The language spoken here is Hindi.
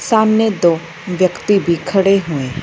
सामने दो व्यक्ति भी खड़े हुए हैं।